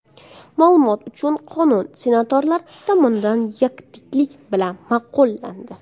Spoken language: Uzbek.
Ma’lumot uchun, qonun senatorlar tomonidan yakdillik bilan ma’qullandi .